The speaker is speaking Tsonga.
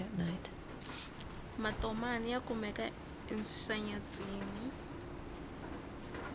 matomani ya kumeka ensenyatsini